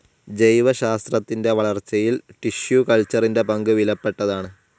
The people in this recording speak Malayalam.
ജൈവശാസ്ത്രത്തിൻ്റെ വളർച്ചയിൽ ടിഷ്യൂ കൾച്ചറിൻ്റെപങ്ക് വിലപ്പെട്ടതാണ്.